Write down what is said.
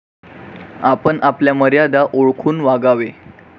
आपण आपल्या मर्यादा ओळखून वागावे.